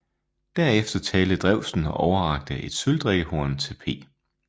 Derefter talte Drewsen og overrakte et sølvdrikkehorn til P